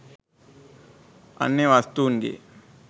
අන්‍ය වස්තූන් ගේ